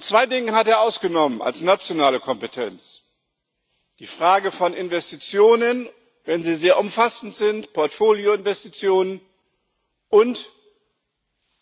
Zwei Dinge hat er als nationale Kompetenz ausgenommen die Frage von Investitionen wenn sie sehr umfassend sind, Portfolioinvestitionen und